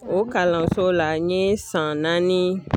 O kalanso la n ye san naani